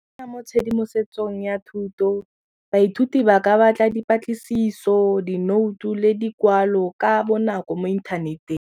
mo tshedimosetsong ya thuto, baithuti ba ka batla dipatlisiso, dinoutu le dikwalo ka bonako mo inthaneteng.